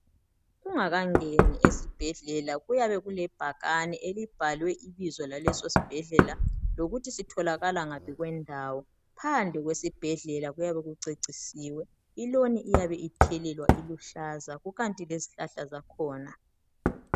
Ungakangeni esibhedlela kuyabe kule bhakane eliyabe libhaliwe ibizo lesibhedlela lokuthi sitholakala ngaphi kwendawo. Phandle kwesibhedlela kuyabe ku cecisiwe. I loni iyabe ithelelwa iluhlaza kukanti lezihlahla zakhona.